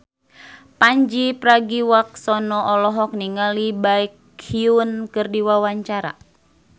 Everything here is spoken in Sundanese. Pandji Pragiwaksono olohok ningali Baekhyun keur diwawancara